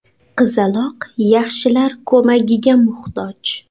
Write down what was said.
Qizaloq yaxshilar ko‘magiga muhtoj.